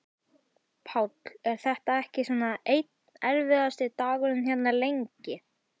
Páll: Er þetta ekki svona einn erfiðasti dagurinn hérna, lengi?